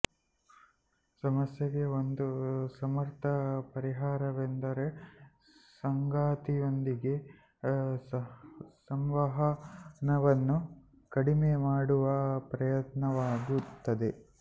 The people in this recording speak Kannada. ಸಮಸ್ಯೆಗೆ ಒಂದು ಸಮರ್ಥ ಪರಿಹಾರವೆಂದರೆ ಸಂಗಾತಿಯೊಂದಿಗೆ ಸಂವಹನವನ್ನು ಕಡಿಮೆ ಮಾಡುವ ಪ್ರಯತ್ನವಾಗಿರುತ್ತದೆ